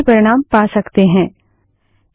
और हम अधिक सहूलियत के साथ वही परिणाम पा सकते हैं